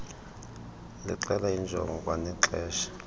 lixela iinjongo kwanexesha